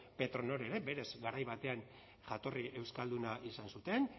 petronor ere berez garai batean jatorri euskalduna izan zuten